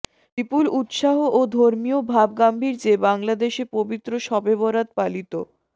বিপুল উৎসাহ ও ধর্মীয় ভাবগাম্ভীর্যে বাংলাদেশে পবিত্র শবে বরাত পালিত